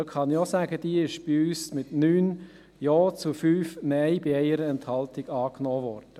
Ich kann sagen, dass diese von uns mit 9 Ja zu 5 Nein bei 1 Enthaltung angenommen wurde.